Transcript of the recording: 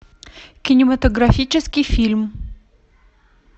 кинематографический фильм